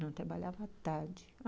Não, eu trabalhava à tarde.